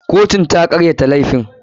Kotun ta karyata laifin.